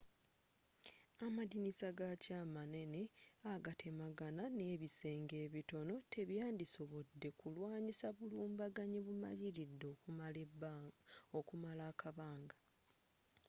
amadirisa gakyo amanene agatemagana n'ebisenge ebitono tebyandisobodde kulwanyisa bulumbaganyi bumaliridde okumala akabanga